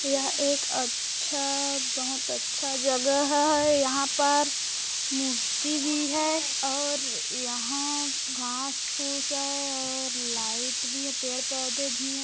यह एक अच्छा बहुत अच्छा जगह है यहाँ पर मूर्ति भी है और यहाँ घास-फूस है और लाइट भी है पेड़-पौधे भी है।